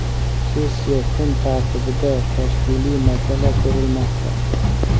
Sessiya kun tartibida tashkiliy masala ko‘rilmoqda.